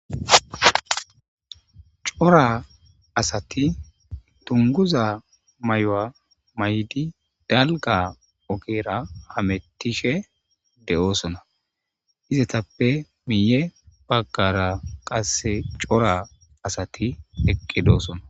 cora asati tunguza may7o7a may7di dalga ogeera hamettishe de7oosona izatappe miiye baggara qasse cora asati eqqidoosona